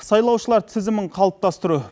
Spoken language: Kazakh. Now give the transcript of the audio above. сайлаушылар тізімін қалыптастыру